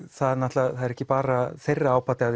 það er ekki bara þeirra ábati af